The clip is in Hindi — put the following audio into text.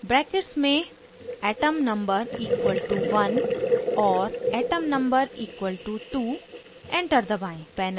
brackets में atom number equal to 1 और atom number equal to 2 enter दबाएं